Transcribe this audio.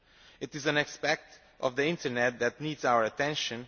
It is an aspect of the Internet that needs our attention.